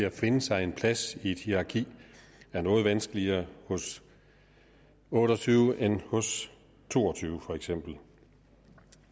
at finde sig en plads i et hierarki er noget vanskeligere hos otte og tyve end hos to og tyve for eksempel